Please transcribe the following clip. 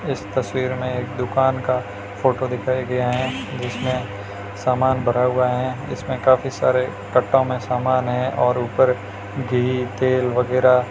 इस तस्वीर में एक दुकान का फोटो दिखाया गया है जिसमें सामान भरा हुआ है इसमें काफी सारे कट्टो में सामान है और ऊपर घी तेल वगैरा --